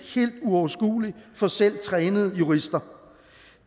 uoverskuelig for selv trænede jurister